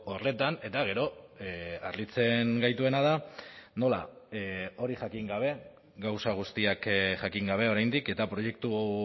horretan eta gero harritzen gaituena da nola hori jakin gabe gauza guztiak jakin gabe oraindik eta proiektu